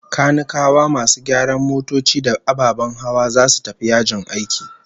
Kanikawa, masu gyara motoci da ababen hawa, zasu tafi yajin aiki